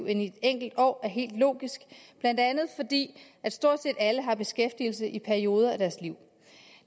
end i et enkelt år er helt logisk blandt andet fordi at stort set alle har beskæftigelse i perioder af deres liv